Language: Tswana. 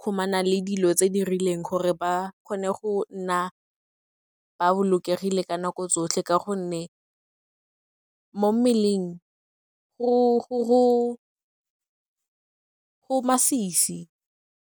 kgomana le dilo tse di rileng, gore ba kgone go nna ba bolokegile ka nako tsotlhe ka gonne mo mmeleng go masisi.